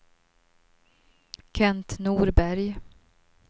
Kent Norberg